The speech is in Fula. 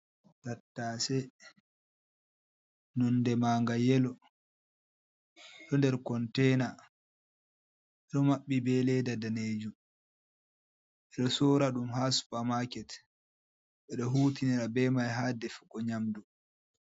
Tattase nunde manga yelo, ɗo nder conteina, ɗo maɓɓi be leda danejum, ɓeɗo sora ɗum ha supamaket, ɓeɗo hutinira be mai ha defugo nyamdu.